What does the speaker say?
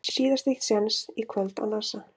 Síðasti séns í kvöld á Nasa